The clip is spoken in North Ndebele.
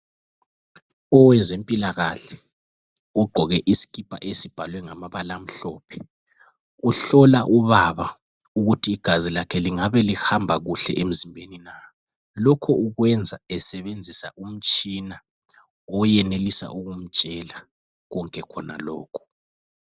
Owezempilakahle ugqoke isikipa esibhalwe ngamabala amhlophe, uhlola ubaba ukuthi igazi lakhe lingabe lihamba kuhle emzimbeni na. Lokhu ukwenza esebenzisa umtshina owenelisa ukumtshela konke khonalokho.